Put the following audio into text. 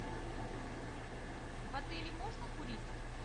в отеле можно курить